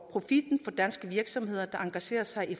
danske virksomheder der engagerer sig i